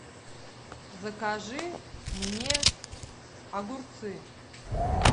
закажи мне огурцы